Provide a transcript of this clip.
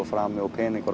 frami og peningar